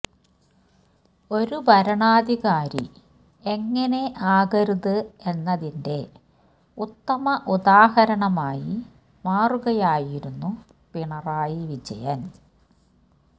ഒരു ഭരണാധികാരി എങ്ങനെ ആകരുത് എന്നതിന്റെ ഉത്തമ ഉദാഹരണമായി മാറുകയായിരുന്നു പിണറായി വിജയന്